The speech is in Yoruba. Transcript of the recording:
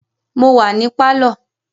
Mo wà ní pálọ̀